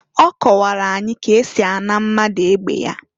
Ọ kọwara anyị ka esi a na mmadu egbe ya.